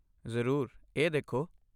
ਜ਼ਰੂਰ! ਇਹ ਦੇਖੋ।